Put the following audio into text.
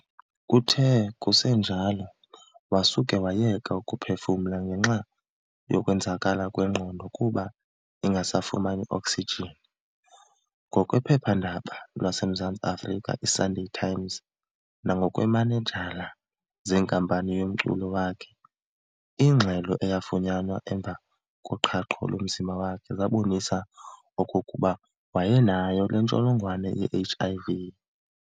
Kuthe kusenjalo wasuka wayeka ukuphefumla ngenxa yokwenzakala kwengqondo kuba ingasafumani oksijin. Ngokwephepha-ndaba laseMzantsi Afrika i"Sunday Times" nangokweemanejala zenkampani yomculo wakhe, ingxelo eyafunyanwa emva koqhahqo lomzimba wakhe zabonisa okokuba wayenayo nentsholongwane ye-HIV.